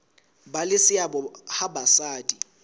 ba le seabo ha basadi